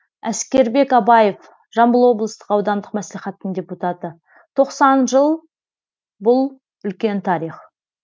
әскербек абаев жамбыл аудандық мәслихаттың депутаты тоқсан жыл бұл үлкен тарих